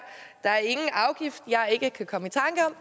der er ingen afgift jeg ikke kan komme